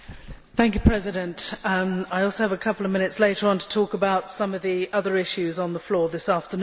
Mr President, I also have a couple of minutes later on to talk about some of the other issues on the floor this afternoon.